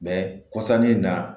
kɔsannin na